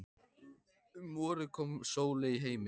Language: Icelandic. Um vorið kom Sóley í heiminn.